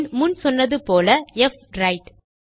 பின் முன் சொன்னது போல புவிரைட்